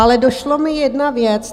Ale došla mi jedna věc.